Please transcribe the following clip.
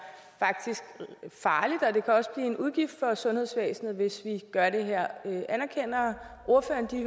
farligt og det kan også blive en udgift for sundhedsvæsenet hvis vi gør det her anerkender ordføreren de